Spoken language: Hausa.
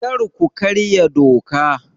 Kar ku karya doka!